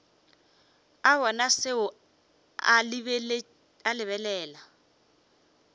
a bona seo a lebelela